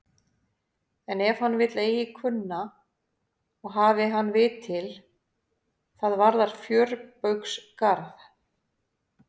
En ef hann vill eigi kunna og hafi hann vit til, það varðar fjörbaugsgarð.